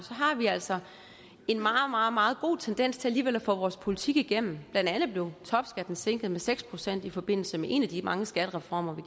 har vi altså en meget meget god tendens til alligevel at få vores politik igennem blandt andet blev topskatten sænket med seks procent i forbindelse med en af de mange skattereformer